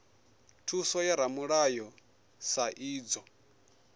thuso ya ramulayo sa idzwo